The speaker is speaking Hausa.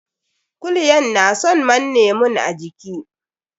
Kulyan na son manne mun a jiiki.